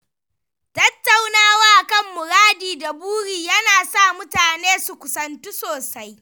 Tattaunawa kan muradi da buri ya na sa mutane su kusantu sosai.